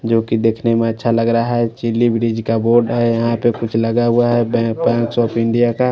जो की देखने में अच्छा लग रहा है चिल्ली ब्रिज का बोर्ड है यहां पे कुछ लगा हुआ है बै बैंक आफ इंडिया का।